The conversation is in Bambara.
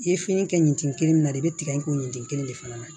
I ye fini kɛ ɲɛtin min na i bɛ tigɛ in kɛ yen tin kelen de fana na